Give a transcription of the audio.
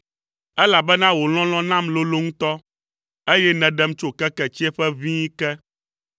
elabena wò lɔlɔ̃ nam lolo ŋutɔ, eye nèɖem tso keke tsiẽƒe ʋĩi ke.